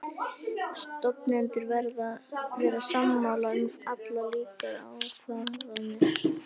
Stofnendur verða að vera sammála um allar líkar ákvarðanir.